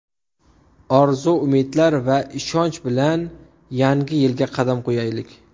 Orzu, umidlar va ishonch bilan yangi yilga qadam qo‘yaylik.